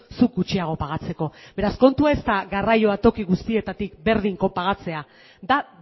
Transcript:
zuk gutxiago pagatzeko beraz kontua ez da garraioa toki guztietatik berdin kopagatzea da